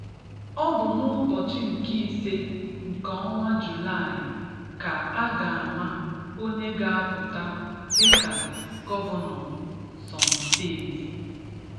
"Ọ bụ n'ụbọchị nke ịse nke ọnwa Jùlàị ka a ga-ama onye ga-apụta dịka gọvanọ Ǹsọ̀ǹ Steeti."